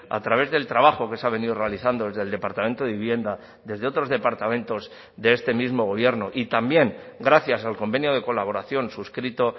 a través del trabajo que se ha venido realizando desde el departamento de vivienda desde otros departamentos de este mismo gobierno y también gracias al convenio de colaboración suscrito